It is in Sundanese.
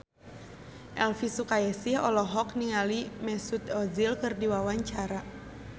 Elvi Sukaesih olohok ningali Mesut Ozil keur diwawancara